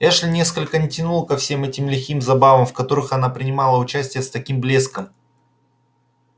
эшли нисколько не тянуло ко всем этим лихим забавам в которых он принимал участие с таким блеском